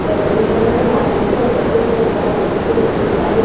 बेलन का रंग नारंगी और सफेद रंग का हैं जैसे की मैं देख पा रही हूँ साम --